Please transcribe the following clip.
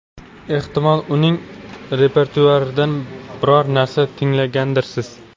Ehtimol, uning repertuaridan biror narsa tinglagandirsiz?